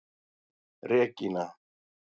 Regína